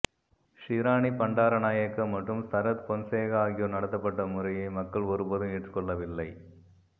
ஷிராணி பண்டாரநாயக்க மற்றும் சரத் பொன்சேகா ஆகியோர் நடத்தப்பட்ட முறையை மக்கள் ஒருபோதும் ஏற்றுக்கொள்ளவில்லை